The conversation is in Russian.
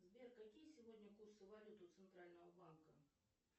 сбер какие сегодня курсы валют у центрального банка